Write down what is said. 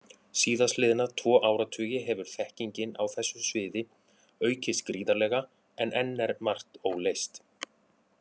Síðastliðna tvo áratugi hefur þekkingin á þessu sviði aukist gríðarlega, en enn er margt óleyst.